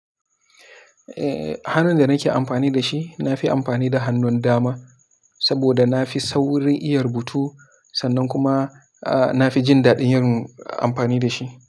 Eh hannun da nake amfani da shi, na fi amfani da hannun dama saboda na fi saurin iya rubutu sannan kuma a na fi jin daɗin yin amfani da shi.